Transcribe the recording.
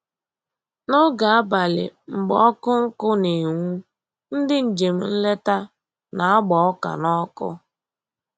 N'oge abalị mgbe ọkụ nkụ na-enwu, ndị njem nleta na-agba ọka n'ọkụ